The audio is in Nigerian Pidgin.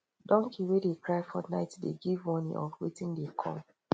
donkey wey dey cry for night dey give warning of wetin dey come